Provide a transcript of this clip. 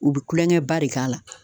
U be kulonkɛ ba de k'a la